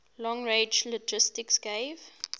long range linguistics gave